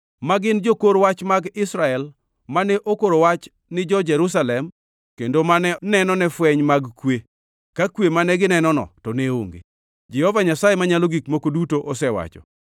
ma gin jokor wach mag Israel mane okoro wach ni jo-Jerusalem kendo mane nenone fweny mag kwe, ka kwe mane ginenono to ne onge, Jehova Nyasaye Manyalo Gik Moko Duto osewacho.” ’